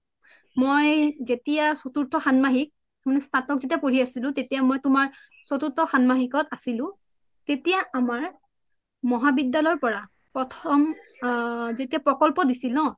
মই যেতিয়া চতুৰ্থ খান্মাহিক মানে স্থাতক যেতিয়া পঢ়ি আছিলো তেতিয়া মই তুমাৰ চতুৰ্থ খান্মাহিক আছিলো তেতিয়া আমাৰ মোহা ৱিদ্যালয়ৰ পৰা প্ৰথম যেতিয়া প্ৰোকোল্পো দিছিলে ন